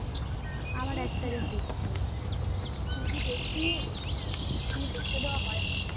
TV দেখিই নি TV দেখতে দেওয়া হয়না।